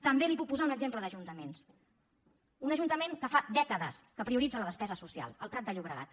també li puc posar un exemple d’ajuntaments d’un ajuntament que fa dècades que prioritza la despesa social el prat de llobregat